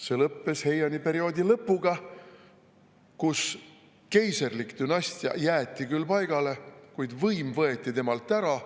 See lõppes Heiani perioodi lõpuga, kui keiserlik dünastia jäeti küll, kuid võim võeti temalt ära.